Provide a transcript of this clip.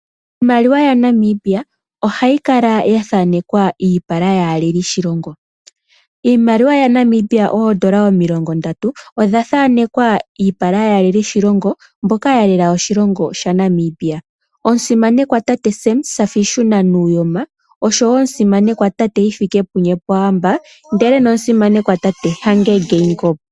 Iimaliwa yaNamibia ohayi kala ya thaanekwa iipala yaaleli yoshilongo. Iimaliwa yaNamibia ooN$ 30 odha thanekwa iipala yaaleli mboka ya lela oshilongo shaNamibia; omusimanekwa tate Sam Shafiishunna Nujoma, omusimanekwa tate Hifikepunye Pohamba noshowo omusimanekwa tate Hage Geingob.